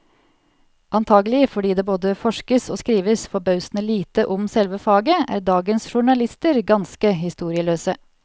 Antagelig fordi det både forskes og skrives forbausende lite om selve faget, er dagens journalister ganske historieløse.